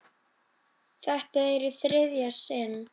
Þetta er í þriðja sinn.